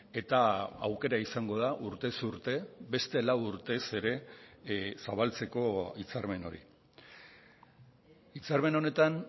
eta aukera izango da urtez urte beste lau urtez ere zabaltzeko hitzarmen hori hitzarmen honetan